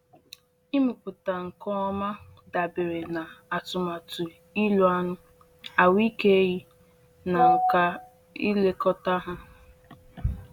Ịmụpụta nke ọma dabere na atụmatụ ịlụ anụ, ahụike ehi, na nka ilekọta ha.